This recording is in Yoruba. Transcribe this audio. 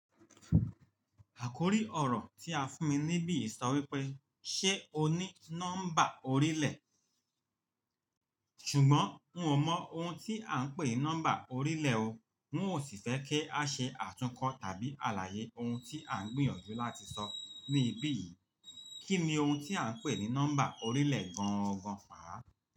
Àkórí ọ̀rọ̀ tí a fún mi níbí sọ wípé, "Ṣé o ní nọ́mbà orílẹ̀?" ṣùgbọ́n n ò mọ̀ ohun tí à ń pè ní nọ́mbà orílẹ̀ o. N ò sì fẹ́ kí a ṣe àtúnkọ́ tàbí àlàyé ohun tí à ń gbìyànjú láti sọ níbí yìí. Kí ni ohun tí à ń pè ní nọ́mbà orílẹ̀ gangan fàá?